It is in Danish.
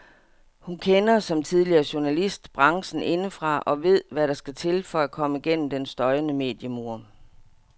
Hun kender, som tidligere journalist, branchen indefra og ved hvad der skal til for at komme gennem den støjende mediemur.